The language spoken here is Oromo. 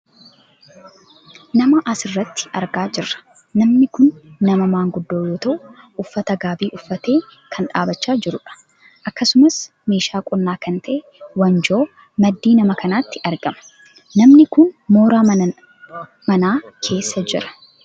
Nama asirratti argaa jirra. Namni kun nama maanguddoo yoo ta'u uffata gaabii uffatee kan dhaabbachaa jirudha. Akkasumas meeshaa qonnaa kan ta'e wanjoon maddii nama kanaatti argama. Namni kun mooraa manaa keessa jira.